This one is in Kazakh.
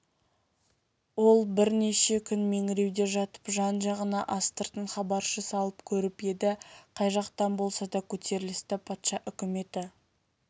ол бірнеше күн меңіреуде жатып жан-жағына астыртын хабаршы салып көріп еді қай жақтан болса да көтерілісті патша үкіметі